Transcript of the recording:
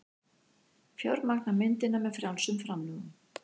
Fjármagna myndina með frjálsum framlögum